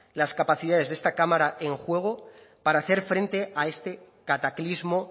las capacidades de esta cámara en juego para hacer frente a este cataclismo